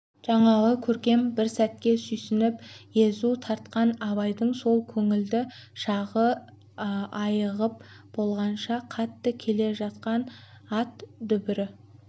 жаңағы көркем бір сәтке сүйсініп езу тартқан абайдың сол көңілді шағы айығып болғанша қатты келе жатқан ат дүбірі